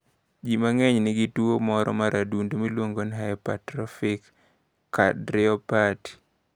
Ji mang’eny nigi kit tuwo moro mar adundo miluongo ni hypertrofik kardiyopati.